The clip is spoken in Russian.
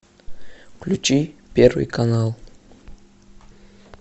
включи первый канал